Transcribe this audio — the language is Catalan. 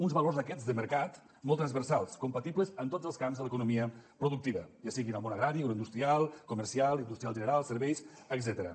uns valors aquests de mercat molt transversals compatibles en tots els camps de l’economia productiva ja sigui en el món agrari industrial comercial industrial general serveis etcètera